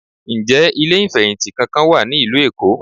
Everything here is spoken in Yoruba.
Ǹjẹ́ ilé ìfẹ̀hìntì kankan wà ní ìlú Èkó?